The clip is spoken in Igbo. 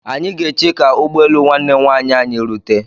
Anyị ga-eche ka ụgbọelu nwanne nwaanyị anyị rute.